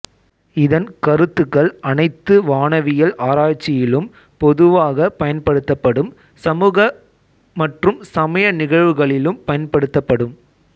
இதன் கருத்துக்கள் அனைத்து வானவியல் ஆராய்ச்சியிலும் பொதுவாக பயன்படுத்தப்படும் சமூக மற்றும் சமய நிகழ்வுகளிலும் பயன்படுத்தப்படும்